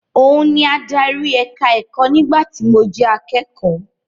Òun ni adarí ẹ̀ka-ẹ̀kọ́ nígbà tí mo jẹ akẹ́kọ̀ọ́.